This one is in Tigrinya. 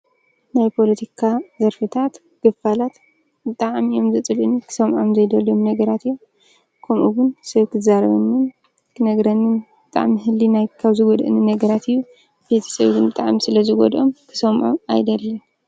ናይ ፖለቲካ ዘርፍታት ክፋላት ብጣዕሚ እዮም ዘፅልኡኒ ክሰምዖም ዘይደሊ ነገራት ከምኡ ውን ሰብ ክዛረበኒ ክነግረኒ ብጣዕሚ ህሊናይ ካብ ዝጎድኣኒ ነገራት እዩ፡፡ ቤተሰበይ ውን ብጣዕሚ ስለዝጎድኦም ክሰምዕዎ ኣይደልን፡፡